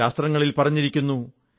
ശാസ്തങ്ങളിൽ പറഞ്ഞിരിക്കുന്നു